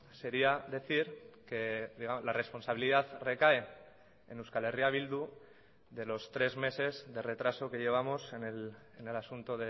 sería decir que la responsabilidad recae en euskal herria bildu de los tres meses de retraso que llevamos en el asunto